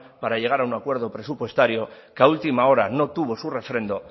para llegar a un acuerdo presupuestario que a última hora no tuvo su refrendo